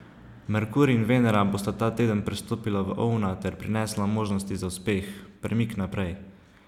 Merkur in Venera bosta ta teden prestopila v Ovna ter prinesla možnosti za uspeh, premik naprej.